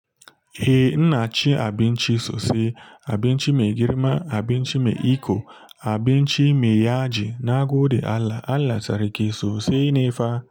Eh, ina cin abinchi sose, abinci me girima, abinci me iko, abinci me yaji na gode Allah, Allah seriki sosai ne fa.